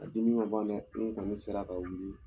A dimi ma ban dɛ n'u kɔni sera k'a wuli